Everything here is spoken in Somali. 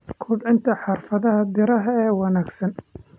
Kobcinta Xirfadaha Beeraha ee Wanaagsan.